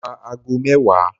Mo ra ago mẹ́wàá.